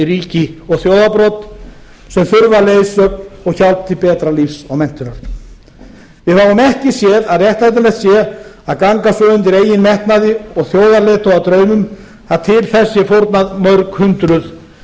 ríki og þjóðarbrot sem þurfa leiðsögn og hjálp til betra lífs og menntunar við fáum ekki séð að réttlætanlegt sé að ganga svo undir eigin metnaði og þjóðarleiðtogadraumum að til þess sé fórnað mörg hundruð